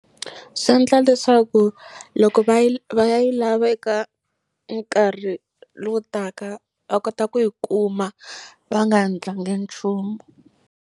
Swi endla leswaku loko va yi va ya yi lava eka enkarhi lowutaka va kota ku yi kuma va nga endlangi nchumu.